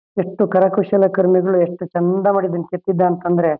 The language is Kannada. ಎಷ್ಟು ಕರ ಕುಶಲ ಕಾರ್ಮಿಗಳು ಎಷ್ಟು ಚಂದ ಮಾಡಿದಾನೇ ಕೆತ್ತಿದ್ದ ಅಂತಂದ್ರೆ--